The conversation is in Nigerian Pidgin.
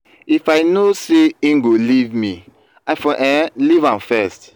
if i no say he go leave me i for um leaveam first.